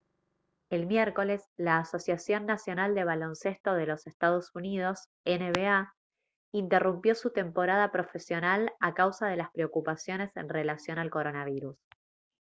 el miércoles la asociación nacional de baloncesto de los ee. uu. nba interrumpió su temporada profesional a causa de las preocupaciones en relación al coronavirus